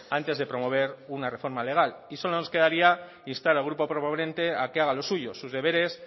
antes de promover una reforma legal y solo nos quedaría instar al grupo proponente a que haga los suyos sus deberes